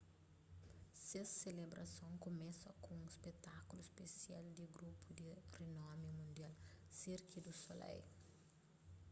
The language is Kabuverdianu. kes selebrason kumesa ku un spetákulu spesial di grupu di rinomi mundial cirque du soleil